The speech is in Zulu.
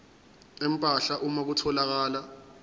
empahla uma kutholakala